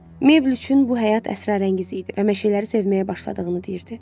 Mabel üçün bu həyat əsrarəngiz idi və meşələri sevməyə başladığını deyirdi.